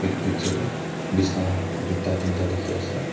etu picture dae bisna tuita tinta tiki ase.